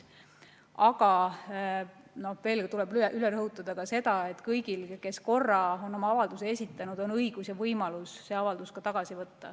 Aga veel kord tuleb üle rõhutada ka seda, et kõigil, kes on oma avalduse juba esitanud, on õigus ja võimalus see avaldus tagasi võtta.